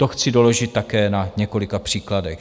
To chci doložit také na několika příkladech: